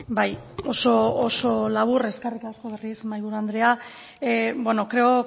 bai oso oso labur eskerrik asko berriz ere mahaiburu andrea bueno creo